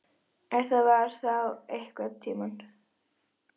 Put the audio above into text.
Ef það var þá einhvern tíma.